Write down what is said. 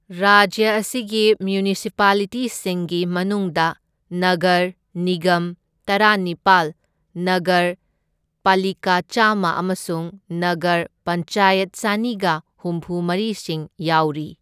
ꯔꯥꯖ꯭ꯌ ꯑꯁꯤꯒꯤ ꯃ꯭ꯌꯨꯅꯤꯁꯤꯄꯥꯂꯤꯇꯤꯁꯤꯡꯒꯤ ꯃꯅꯨꯡꯗ ꯅꯒꯔ ꯅꯤꯒꯝ ꯇꯔꯥꯅꯤꯄꯥꯜ, ꯅꯒꯔ ꯄꯂꯤꯀꯥ ꯆꯥꯝꯃ ꯑꯃꯁꯨꯡ ꯅꯒꯔ ꯄꯟꯆꯥꯌꯠ ꯆꯅꯤꯒ ꯍꯨꯝꯐꯨꯃꯔꯤꯁꯤꯡ ꯌꯥꯎꯔꯤ꯫